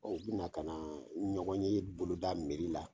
Ɔn u bi na ka na ɲɔgɔn ye boloda la.